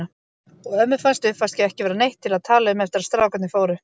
Og ömmu fannst uppvaskið ekki vera neitt til að tala um eftir að strákarnir fóru.